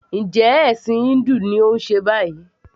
Njẹ́ ẹ̀ṣìn híńdù ni òun ṣe báyìí?